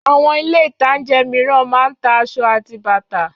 Àwọn Ilé-ìtajà mìíràn máa ń ta aṣọ àti bàtà